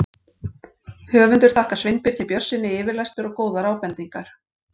Höfundur þakkar Sveinbirni Björnssyni yfirlestur og góðar ábendingar.